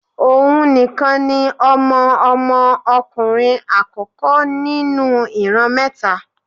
Ohùn nìkan ni Ọmọ Ọmọ ọkùnrin àkókó nínú ìran mẹ́ta